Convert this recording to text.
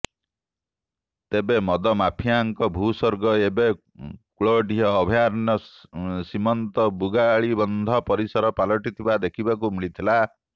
ତେବେ ମଦମାଫିଆ ଙ୍କ ଭୂସ୍ବର୍ଗ ଏବେ କୁଳଡିହା ଅଭୟାରଣ୍ୟ ସୀମାନ୍ତ ବୁଗାଳିବନ୍ଧ ପରିସର ପାଲଟିଥିବା ଦେଖିବାକୁ ମିଳିଛି